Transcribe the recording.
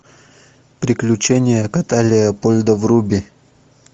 приключения кота леопольда вруби